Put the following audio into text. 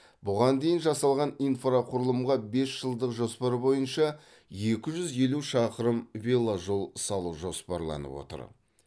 бұған дейін жасалған инфрақұрылымға бес жылдық жоспар бойынша екі жүз елу шақырым веложол салу жоспарланып отыр